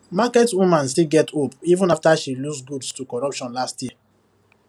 market woman still get hope even after she lose goods to corruption last year